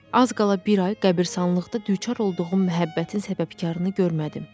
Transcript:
Az qala bir ay qəbiristanlıqda düçar olduğum məhəbbətin səbəbkarını görmədim.